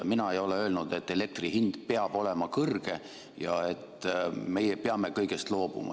Mina ei ole öelnud, et elektri hind peab olema kõrge ja et meie peame kõigest loobuma.